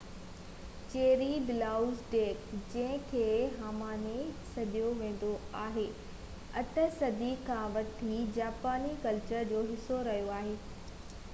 چيري blossoms ڏيک جنهنکي هانامي سڏيو ويندو آهي 8 صدي کان وٺي جاپاني ڪلچر جو حصو رهيو آهي